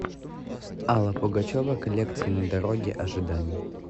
алла пугачева коллекция на дороге ожиданий